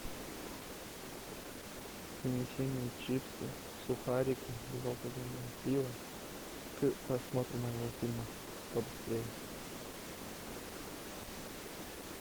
принеси мне чипсы сухарики безалкогольное пиво к просмотру моего фильма побыстрее